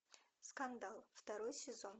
скандал второй сезон